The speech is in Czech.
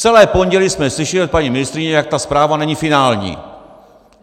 Celé pondělí jsme slyšeli od paní ministryně, jak ta zpráva není finální!